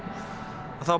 þá